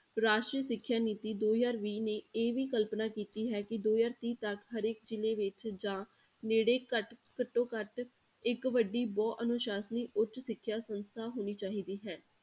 ਰਾਸ਼ਟਰੀ ਸਿੱਖਿਆ ਨੀਤੀ ਦੋ ਹਜ਼ਾਰ ਵੀਹ ਨੇ ਇਹ ਵੀ ਕਲਪਨਾ ਕੀਤੀ ਹੈ ਕਿ ਦੋ ਹਜ਼ਾਰ ਤੀਹ ਤੱਕ ਹਰੇਕ ਜ਼ਿਲ੍ਹੇ ਵਿੱਚ ਜਾਂ ਨੇੜੇ ਘੱਟ, ਘੱਟੋ ਘੱਟ ਇੱਕ ਵੱਡੀ ਬਹੁ ਅਨੁਸਾਸਨੀ ਉੱਚ ਸਿੱਖਿਆ ਸੰਸਥਾ ਹੋਣੀ ਚਾਹੀਦੀ ਹੈ।